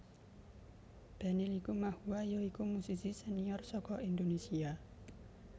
Benny Likumahuwa ya iku musisi senior saka Indonésia